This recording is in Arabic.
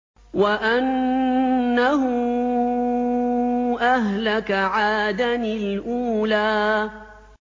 وَأَنَّهُ أَهْلَكَ عَادًا الْأُولَىٰ